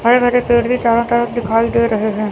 हरे भरे पेड़ भी चारो तरफ दिखाई दे रहे हैं।